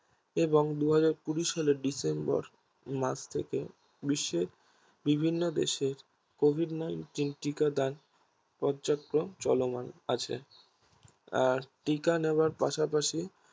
এবং দু হাজার কুড়ি সালে December মাস থেকে বিশ্বে বিভিন্ন দেশে Covid nineteen টিকা দান পর্যাপ্ত মান চলমান আছে আর টিকা নেওয়ার পাশাপাশি